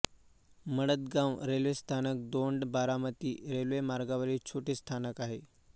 Maladgaon railway स्थानक दौंड बारामती रेल्वेमार्गावरील छोटे स्थानक आहे